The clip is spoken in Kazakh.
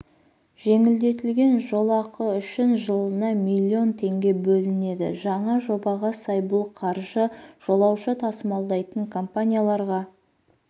жеңілдетілген жолақы үшін жылына миллион теңге бөлінеді жаңа жобаға сай бұл қаржы жолаушы тасымалдайтын компанияларға